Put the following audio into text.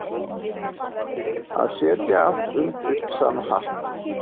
Að setja alla undir sama hatt